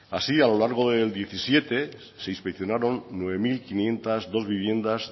así a lo largo del diecisiete se inspeccionaron nueve mil quinientos dos viviendas